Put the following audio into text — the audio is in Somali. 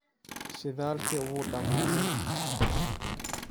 Shidaalkii wuu dhammaaday.